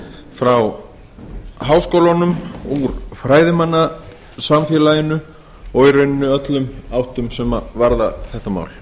frá háskólunum úr fræðimannasamfélaginu og í rauninni úr öllum áttum sem varðar þetta mál